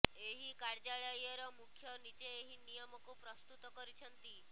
ଏହି କାର୍ଯ୍ୟଳୟର ମୁଖ୍ୟ ନିଜେ ଏହି ନିୟମକୁ ପ୍ରସ୍ତୁତ କରିଛନ୍ତି